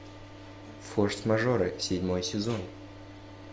форс мажоры седьмой сезон